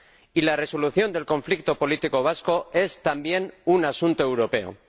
Y la resolución del conflicto político vasco es, también, un asunto europeo.